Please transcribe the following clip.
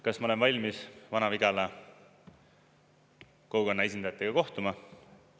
Kas ma olen valmis Vana-Vigala kogukonna esindajatega kohtuma?